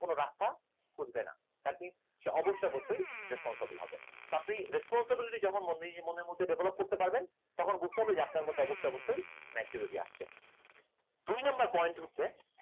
কোনো রাস্তা খুঁজবে না তাকে অবশ অবশ্যই responsible হবে তবেই responsibility যখন মনের মধ্যে develop করতে পারবেন তখন বুঝতে হবে যে আপনার মধ্যে অবশ অবশ্যই maturity আসছে দুই number point হচ্ছে